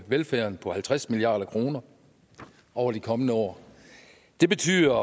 velfærden på halvtreds milliard kroner over de kommende år det betyder